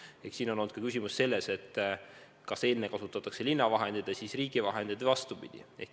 Ehk on kõik olenenud ka sellest, kas enne kasutatakse linna vahendeid ja siis riigi vahendeid või vastupidi.